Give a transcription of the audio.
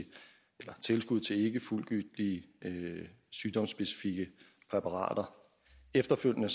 tilskud til ikkefuldgyldige sygdomsspecifikke præparater efterfølgende